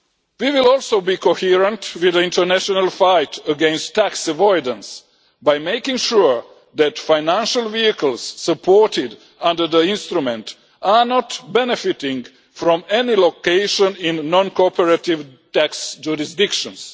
We will also be coherent with the international fight against tax avoidance by making sure that financial vehicles supported under the instrument are not benefiting from any location in non cooperative tax jurisdictions.